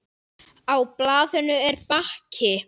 Á blaðinu er bakki.